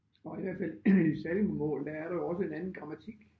Og i hvert fald i sallingbomål der er der jo også en anden grammatik